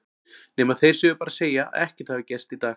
Nema þeir séu bara að segja að ekkert hafi gerst í dag.